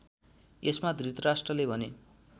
यसमा धृतराष्ट्रले भने